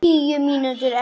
Ekki allir í einni kássu!